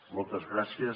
moltes gràcies